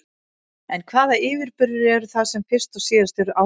En hvaða yfirburðir eru það sem fyrst og síðast eru áréttaðir?